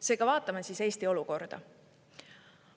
Seega, vaatame siis Eesti olukorda.